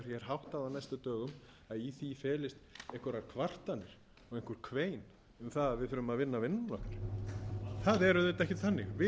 á næstu dögum að í því felist einhverjar kvartanir og einhver eins um að við þurfum að vinna vinnuna okkar það er auðvitað ekki þannig við